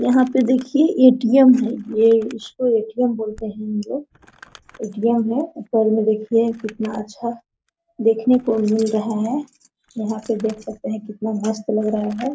यहाँ पे देखिए ए .टी .एम. है ये इस को ए.टी .एम. बोल ते है हमलोग ए.टी.एम. मे ऊपर मे देखिए ये कितना अच्छा देखने को मिल रहा है यहाँ पे देख सकते है कितना मस्त लग रहा है।